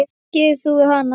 Hvað gerir þú við hana?